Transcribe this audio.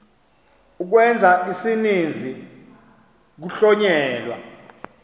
ukwenza isininzi kuhlonyelwa